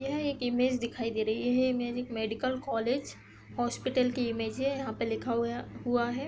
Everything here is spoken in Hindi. यह एक इमेज दिखाई दे रही है। यह इमेज एक मेडिकल कॉलेज हॉस्पिटल की इमेज है। यहाँ पे लिखा हुआहुआ है।